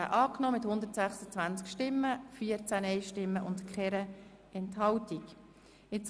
Der Grosse Rat hat den Antrag SiK und Regierungsrat angenommen.